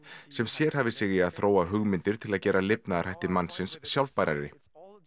sem sérhæfir sig í að þróa hugmyndir til að gera lifnaðarhætti mannsins sjálfbærari